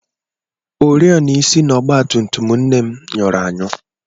Ọriọna isi na ọgbatumtum nne m nyụrụ anyụ.